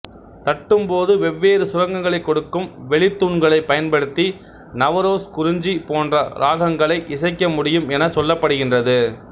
தட்டும்போது வெவ்வேறு சுரங்களைக் கொடுக்கும் வெளித்தூண்களைப் பயன்படுத்தி நவரோஸ் குறிஞ்சி போன்ற இராகங்களை இசைக்க முடியும் எனச் சொல்லப்படுகின்றது